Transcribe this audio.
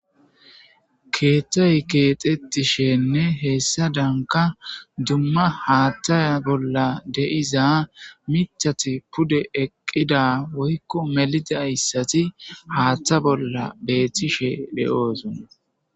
Keethey keethetishenne hessadanka dumma haathay a bolla de7iza miththati pude eqida woyko melizaysati haatha bolla beetishe de7oosona.